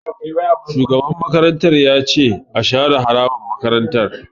Shugaban makarantar ya ce 'Share harabar makarantar'!